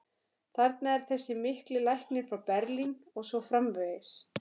þarna er þessi mikli læknir frá Berlín og svo framvegis.